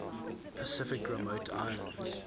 pacific remote islands